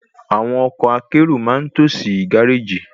Àwọn ọkọ̀ akérò ma n tó sí gáréjì